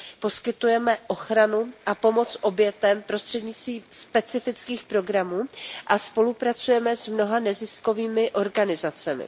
Poskytujeme ochranu a pomoc obětem prostřednictvím specifických programů a spolupracujeme s mnoha neziskovými organizacemi.